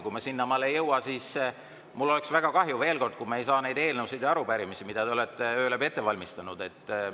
Kui me sinnamaale ei jõua, siis mul oleks väga kahju, veel kord, kui me ei saa neid eelnõusid ja arupärimisi, mida te olete öö läbi ette valmistanud,.